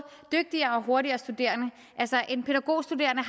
dygtigere og hurtigere studerende altså en pædagogstuderende